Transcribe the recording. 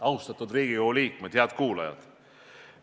Austatud kuulajad!